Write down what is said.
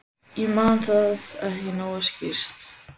Ég man það ekki nógu skýrt.